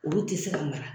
Olu tɛ se ka mara